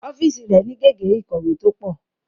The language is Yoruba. Ọ́fíìsì rẹ̀ ni gègé ìkọ̀wé tó pọ̀